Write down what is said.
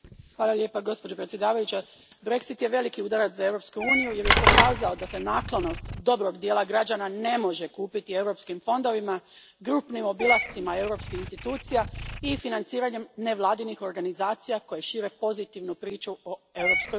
Gospođo predsjednice, Brexit je veliki udarac za Europsku uniju jer je pokazao da se naklonost dobrog dijela građana ne može kupiti europskim fondovima, grupnim obilascima europskih institucija i financiranjem nevladinih organizacija koje šire pozitivnu priču o Europskoj uniji.